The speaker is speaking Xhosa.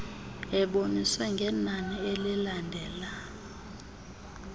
eboniswe ngenani elilandela